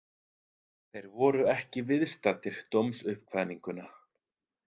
Þeir voru ekki viðstaddir dómsuppkvaðninguna